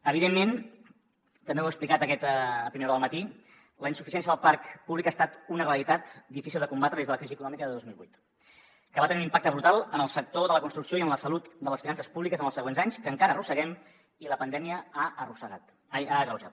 evidentment també ho he explicat a primera hora del matí la insuficiència del parc públic ha estat una realitat difícil de combatre des de la crisi econòmica de dos mil vuit que va tenir un impacte brutal en el sector de la construcció i en la salut de les finances públiques en els següents anys que encara arrosseguem i la pandèmia ha agreujat